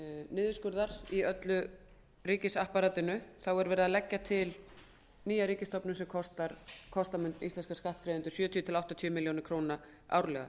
niðurskurðar í öllu ríkisapparatinu er lögð til ný ríkisstofnun sem kosta mun íslenska skattgreiðendur sjötíu til áttatíu milljónir króna árlega